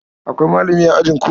Akwai malami a ajinku?